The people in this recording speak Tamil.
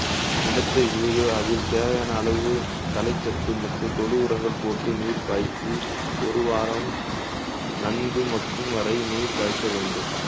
நிலத்தை உழுது அதில் தேவையான அளவு தலை சத்து மற்றும் தொழு உரங்கள் போட்டு நீர் பாய்ச்சி ஒரு வாரம் நன்கு மக்கும் வரை நீர் பாய்ச்ச வேண்டும்